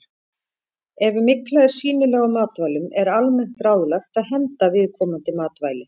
Ef mygla er sýnileg á matvælum er almennt ráðlagt að henda viðkomandi matvæli.